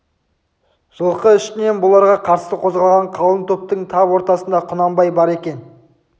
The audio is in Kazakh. жылқы ішінен бұларға қарсы қозғалған қалың топтың тап ортасында құнанбай бар екен